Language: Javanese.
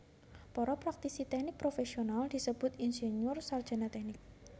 Para praktisi tèknik profèsional disebut insinyur sarjana tèknik